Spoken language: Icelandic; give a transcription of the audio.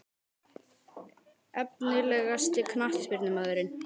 Efnilegasti knattspyrnumaðurinn?